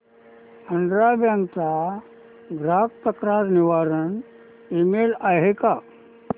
Andhra bank चा ग्राहक तक्रार निवारण ईमेल आहे का